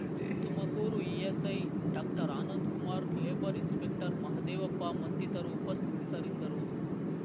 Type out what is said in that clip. Tumakuru ESI doctor Anandkumar labour inspector Mahadevappa ಮತ್ತಿತರು ಉಪಸ್ಥಿತರಿದ್ದರು